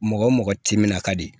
Mɔgɔ wo mɔgɔ ti min na ka di